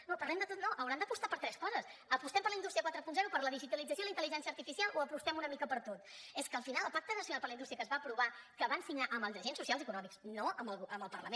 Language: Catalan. no parlem de tot no hauran d’apostar per tres coses apostem per la indústria quaranta per la digitalització i la intel·ligència artificial o apostem una mica per tot és que al final el pacte nacional per la indústria que es va aprovar que van signar amb els agents socials i econòmics no amb el parlament